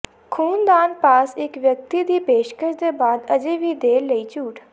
ਖੂਨ ਦਾਨ ਪਾਸ ਇੱਕ ਵਿਅਕਤੀ ਦੀ ਪੇਸ਼ਕਸ਼ ਦੇ ਬਾਅਦ ਅਜੇ ਵੀ ਦੇਰ ਲਈ ਝੂਠ